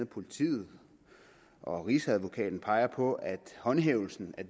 politiet og rigsadvokaten peger på at håndhævelsen af